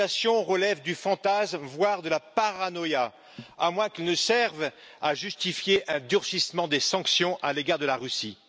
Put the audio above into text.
Ces accusations relèvent du fantasme, voire de la paranoïa, à moins qu'elles ne servent à justifier un durcissement des sanctions à l'égard de la Russie.